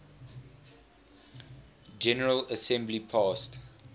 general assembly passed